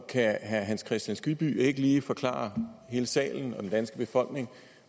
kan herre hans kristian skibby ikke lige forklare hele salen og den danske befolkning